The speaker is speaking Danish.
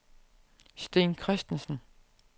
Sten Kristensen